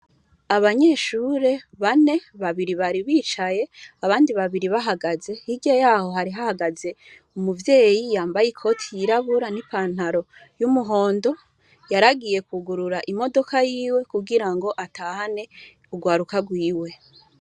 Abanyeshure bane, babiri bari bicaye, abandi bibiri bahagaze. Hirya yaho hari hahagaze umuvyeyi yambaye ikoti yirabura n'ipantaro y'umuhondo. Yar'agiye kwugurura imodoka yiwe kugira ngo atahane urwaruka rwiwe.